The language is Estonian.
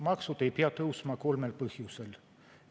Maksud ei pea tõusma kolmel põhjusel.